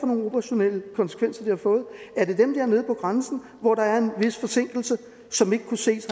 nogle operationelle konsekvenser det har fået er det dem dernede på grænsen hvor der er en vis forsinkelse som ikke kan ses